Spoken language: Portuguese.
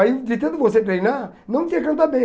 Aí, de tanto você treinar, não que você canta bem.